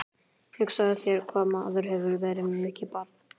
Hugsaðu þér hvað maður hefur verið mikið barn.